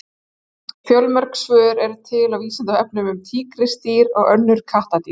Fjölmörg svör eru til á Vísindavefnum um tígrisdýr og önnur kattardýr.